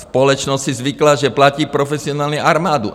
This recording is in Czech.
Společnost si zvykla, že platí profesionální armádu.